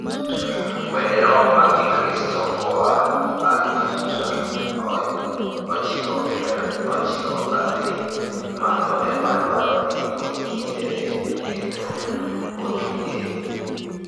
wende rock mag kikristo koa aluf mia ochiko pier ochiko kadhii malo ema dwaroni oyiere kendo otuge